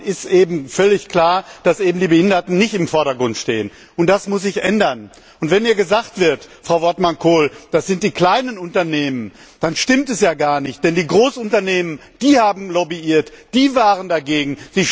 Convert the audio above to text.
Dann ist völlig klar, dass die Behinderten eben nicht im Vordergrund stehen, und das muss sich ändern. Wenn hier gesagt wird, Frau Wortmann Kool, das sind die kleinen Unternehmen, dann stimmt das gar nicht, denn die großen Unternehmen haben lobbyiert, die waren dagegen.